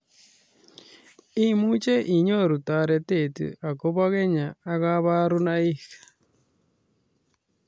Imuch inyoruu taritet agobaa kenyaa ak kabarunaik